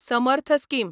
Samarth scheme